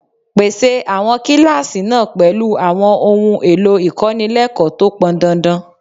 Pèsè àwọn kíláàsì náà pẹ̀lú àwọn ohun èlò ìkọ́nilẹ́kọ̀ọ́ tó pọn dandan